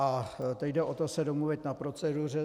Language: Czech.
A teď jde o to se domluvit na proceduře.